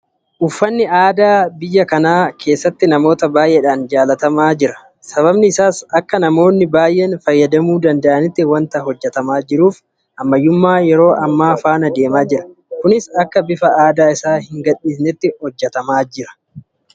Uffanni aadaa biyya kana keessatti namoota baay'eedhaan jaalatamaa jira. Sababiin isaas akka namoonni baay'een fayyadamuu danda'anitti waanta hojjetamaa jiruuf ammayyummaa yeroo ammaa faana deemaa jira. Kunis akka bifa aadaa isaa hin gadhiisnetti hojjetamaa jira.